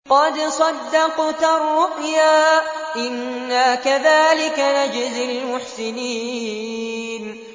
قَدْ صَدَّقْتَ الرُّؤْيَا ۚ إِنَّا كَذَٰلِكَ نَجْزِي الْمُحْسِنِينَ